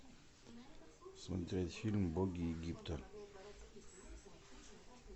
смотреть фильм боги египта